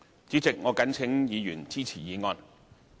主席，我謹請議員支持議案。